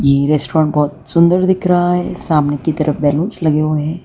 ये रेस्टोरेंट बहोत सुंदर दिख रहा है सामने की तरफ बैलूंस लगे हुए है।